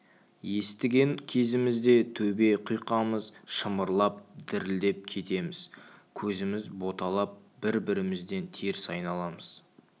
естіген кезімізде төбе құйқамыз шымырлап дірілдеп кетеміз көзіміз боталап бір-бірімізден теріс айналамыз